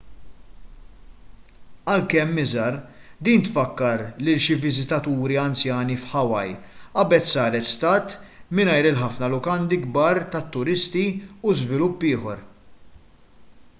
għalkemm iżgħar din tfakkar lil xi viżitaturi anzjani f'hawaii qabel saret stat mingħajr il-ħafna lukandi kbar tat-turisti u żvilupp ieħor